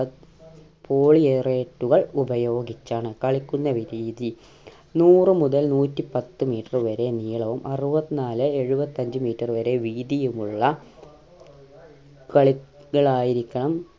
പോളിയേറേറ്റുകൾ ഉപയോഗിച്ചാണ് കളിക്കുന്ന രീതി നൂറു മുതൽ നൂറ്റിപത്ത് meter വരെ നീളവും അറുപത്തിനാല് എഴുപത്തഞ്ച് meter വരെ വീതിയും ഉള്ള കളികൾ ആയിരിക്കണം